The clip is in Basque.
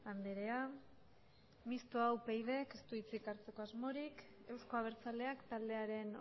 andrea mistoa upydk ez du hitzik hartzeko asmorik euzko abertzaleak taldearen